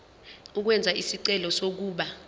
ukwenza isicelo sokuba